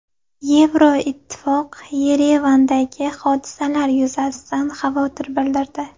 Yevroittifoq Yerevandagi hodisalar yuzasidan xavotir bildirdi.